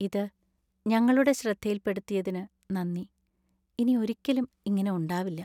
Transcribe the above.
ഇത് ഞങ്ങളുടെ ശ്രദ്ധയിൽപ്പെടുത്തിയതിന് നന്ദി. ഇനി ഒരിക്കലും ഇങ്ങനെ ഉണ്ടാവില്ല.